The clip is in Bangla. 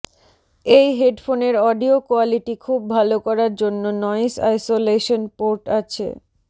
এই হেডফোনের অডিও কোয়ালিটি খুব ভাল করার জন্য নয়েস আইসোলেশন পোর্ট আছে